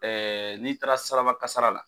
n'i taara saraba kasara la.